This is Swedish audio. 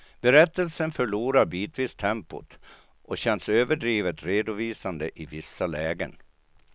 Berättelsen förlorar bitvis tempot och känns överdrivet redovisande i vissa lägen.